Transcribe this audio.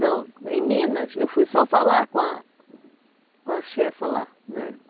Não, em Minas eu fui só falar com a com a chefa lá, né?